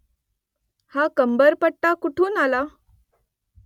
हा कमरपट्टा कुठून आला ?